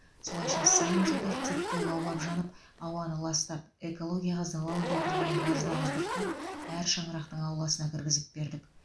солайша сан жылдар текке лаулап жанып ауаны ластап экологияға залал келтірген газды ауыздықтап әр шаңырақтың ауласына кіргізіп бердік